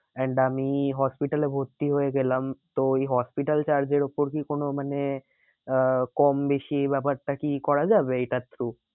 And আমি hospital এ ভর্তি হয়ে গেলাম তো এই hospital charges এর ওপর কি কোনো মানে আহ কম বেশি ব্যাপারটা কি করা যাবে? এইটার through